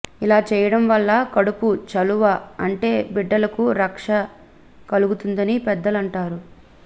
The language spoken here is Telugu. ఇలా చేయడం వల్ల కడుపు చలువ అంటే బిడ్డలకు రక్ష కలుగుతుందని పెద్దలంటారు